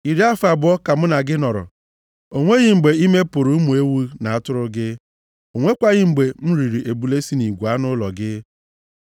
“Iri afọ abụọ ka mụ na gị nọrọ. O nweghị mgbe ime pụrụ ụmụ ewu na atụrụ gị; o nwekwaghị mgbe m riri ebule si nʼigwe anụ ụlọ gị.